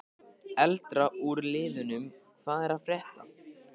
Eldra úr liðnum Hvað er að frétta?